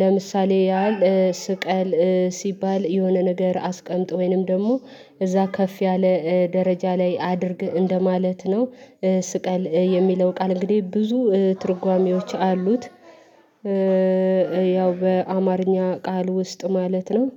ለምሳሌ ያህል ስቀል ሲባል የሆነ ነገር አስቀምጥ ወይንም ደግሞ እዛ ከፍ ያለ ደረጃ ላይ አድርግ እንደማለት ነው። ስቀል የሚለው ቃል እንግዲህ ብዙ ትርጓሜዎች አሉት። ያው በአማርኛ ቃል ውስጥ ማለት ነው።